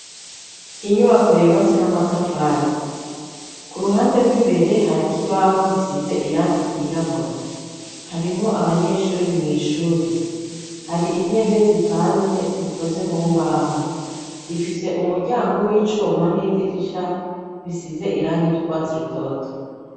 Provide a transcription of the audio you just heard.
Inyubako yubatse n'amatafari, ku ruhande rw'imbere, hari k'ibaho gisize irangi ryirabura. Harimwo abanyeshuri mw'ishuri. Hari intebe zipanze zikoze mu mbaho. Rifise umuryango w'icuma n'idirisha bisize irangi ry'urwatsi rutoro.